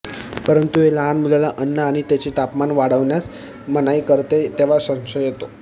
परंतु हे लहान मुलाला अन्न आणि त्याचे तापमान वाढण्यास मनाई करते तेव्हा संशय येतो